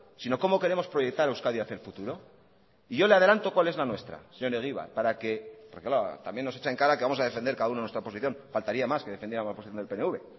sino cómo queremos proyectar euskadi hacia el futuro y yo le adelanto cuál es la nuestra señor egibar para que porque claro también nos echa en cara que vamos a defender cada uno nuestra posición faltaría más que defendiéramos la posición del pnv